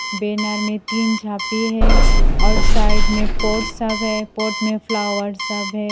Banner में तीन झांपि है और साइड में पॉट सब है पॉट में फ्लावर सब है।